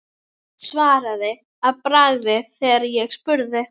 Svaraði að bragði þegar ég spurði.